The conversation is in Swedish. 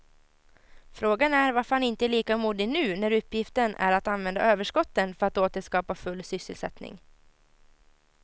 Frågan är varför han inte är lika modig nu när uppgiften är att använda överskotten för att åter skapa full sysselsättning.